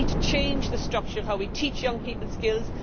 So we need to change the structure of how we teach young people skills.